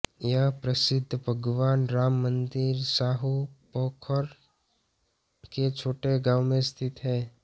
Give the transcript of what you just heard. यह प्रसिद्ध भगवान राम मंदिर साहू पोखर के छोटे गांव में स्थित है